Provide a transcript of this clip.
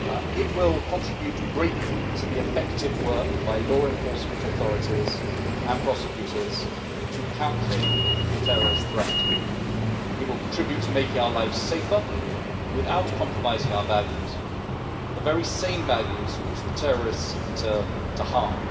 It will contribute greatly to the effective work done by law enforcement authorities and prosecutors in countering the terrorist threat, and this will contribute to making our lives safer, without compromising our values, which are the very same values that the terrorists seek to harm.